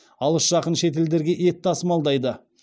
алыс жақын шетелдерге ет тасымалдайды